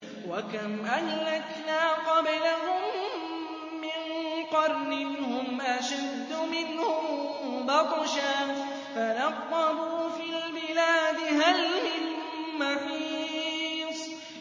وَكَمْ أَهْلَكْنَا قَبْلَهُم مِّن قَرْنٍ هُمْ أَشَدُّ مِنْهُم بَطْشًا فَنَقَّبُوا فِي الْبِلَادِ هَلْ مِن مَّحِيصٍ